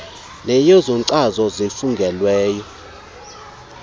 neyezo nkcazo zifungelweyo